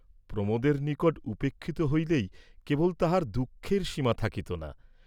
প্রমোদের নিকট উপেক্ষিত হইলেই কেবল তাহার দুঃখের সীমা থাকিত না।